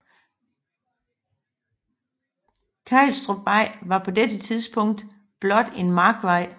Kejlstrupvej var på dette tidspunkt blot en markvej